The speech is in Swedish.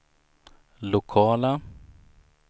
lokala